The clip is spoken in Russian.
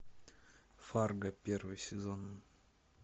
фарго первый сезон